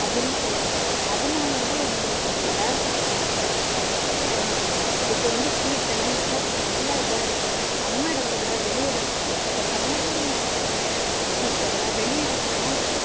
அப்டின்னு சொல்லலா அதுனால என்னோவோ தேரில அ இப்போ வந்து heat லா நல்லா நல்லா இதா இருக்கு நம்ம எடத்த விட வெளி எடத்துள்ள இப்போ கன்னியாகுமரி மாவட்டத்துள்ள heat விட வெளி இடத்துலல்லாம்